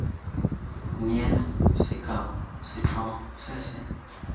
neela sekao setlhogo se se